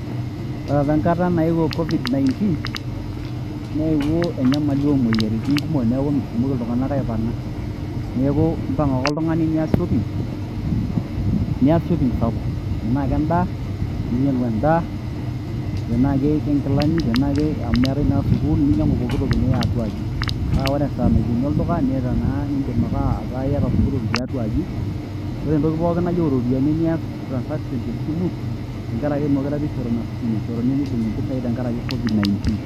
Ore opa enkata naewuo COVID-19, neepuo enyamali o moyiaritin kumok, neaku metumoki iltung'ana aipang'a, neaku impang' ake oltung'ani aas shopping, nias shopping sapuk, tanaa ake endaa ninyang'u endaa, tanake ke ng'ilani , tenaake amu keetai naa sukuul ninyang'u, pooki toki niya atuaji. Ore esaa naikeni olduka niata naa nindim ake ata iata pooki toki tiatua aji, kore te pooki toki nayiou iropiani nias transaction te simu teng'ara ake mekure eishoru nafasi meibung'i isentei enkara ake COVID-19.